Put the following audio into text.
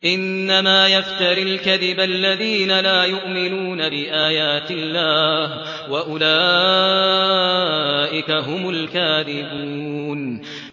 إِنَّمَا يَفْتَرِي الْكَذِبَ الَّذِينَ لَا يُؤْمِنُونَ بِآيَاتِ اللَّهِ ۖ وَأُولَٰئِكَ هُمُ الْكَاذِبُونَ